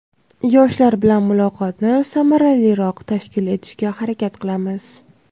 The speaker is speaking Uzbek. yoshlar bilan muloqotni samaraliroq tashkil etishga harakat qilamiz.